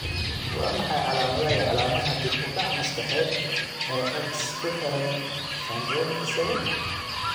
Waa maxay calaamadaha iyo calaamadaha dib u dhac maskaxeed ee X ku xidhan syndromic 7?